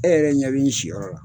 E yɛrɛ ɲɛ bɛ n si yɔrɔ la.